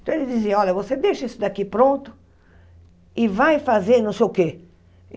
Então ele dizia, olha, você deixa isso daqui pronto e vai fazer não sei o quê.